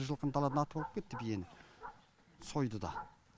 жылқыны даладан атып алып кетті биені сойды да